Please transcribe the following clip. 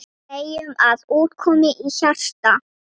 Segjum að út komi hjarta.